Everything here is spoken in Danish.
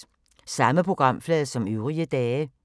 Samme programflade som øvrige dage